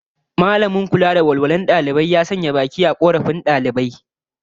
Mallamin kula da walwalar dalibai zai nemi makaranta ta sanya baki a korafin daliban